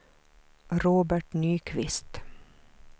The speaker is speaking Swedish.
Robert Nyqvist